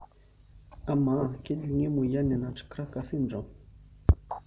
Amaa kejungi emoyian e nutcracker syndrome?